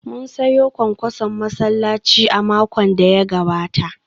Mun sayo kwankwason masallaci a makon da ya gabata